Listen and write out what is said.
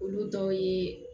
Olu dɔw ye